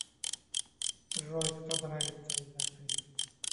джой кто нравится из актрис